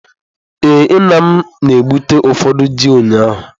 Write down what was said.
Ee, m na-egbute ụfọdụ ji ụnyahụ.